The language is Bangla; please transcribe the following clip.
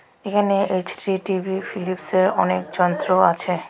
এখানে এইচ_ডি টি_ভি ফিলিপসের অনেক যন্ত্র আছে .